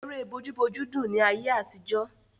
Ère bójú bójú dùn ni ayé àtijọ́.